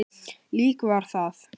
Lík var það.